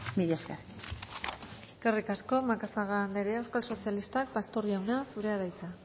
mila esker eskerrik asko macazaga andrea euskal sozialistak pastor jauna zurea da hitza